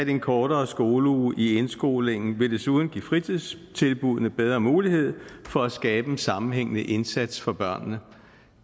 en kortere skoleuge i indskolingen vil desuden give fritidstilbuddene bedre mulighed for at skabe en sammenhængende indsats for børnene